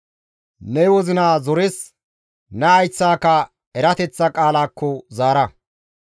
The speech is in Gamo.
Ne wozina zores, ne hayththaka erateththa qaalaakko zaara.